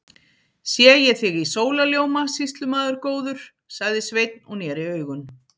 Sé ég þig í sólarljóma, sýslumaður góður, sagði Sveinn og neri augun.